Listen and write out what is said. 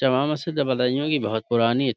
JAMA Masjid ہے بدایوں کی بھوت پرانی --